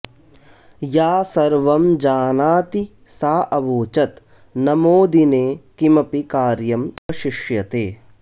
या सर्वं जानाति सा अवोचत् न मोदिने किमपि कार्यम् अवशिष्यते